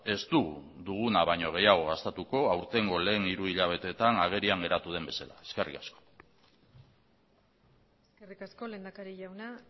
ez dugu duguna baino gehiago gastatuko aurtengo lehen hiru hilabeteetan agerian geratu den bezala eskerrik asko eskerrik asko lehendakari jauna